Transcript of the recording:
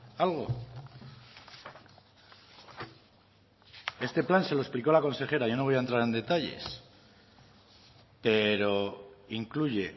algo este plan se lo explicó la consejera yo no voy a entrar en detalles pero incluye